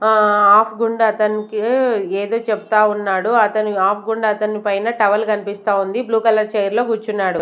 ఆహ్ ఆఫ్గుండా అతన్కి ఏదో చెప్తా ఉన్నాడు అతను ఆఫ్గుండా అతని పైన టవల్ కన్పిస్తా ఉంది బ్లూ కలర్ చైర్ లో గూర్చున్నాడు.